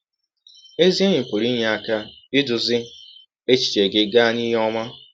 Ezi enyi pụrụ inye aka idụzị echiche gị gaa n’ihe ọma.